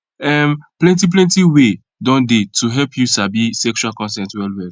um plenty plenty way don dey to help you sabi sexual consent well well